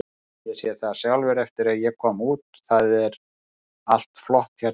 Ég sé það sjálfur eftir að ég kom út, það er allt flott hérna.